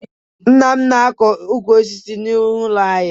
Nna m na-akọ ukwu osisi n'ihu ụlọ anyị